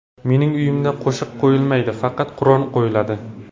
Mening uyimda qo‘shiq qo‘yilmaydi, faqat Qur’on qo‘yiladi.